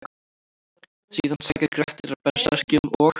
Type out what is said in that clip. Síðan sækir Grettir að berserkjum og: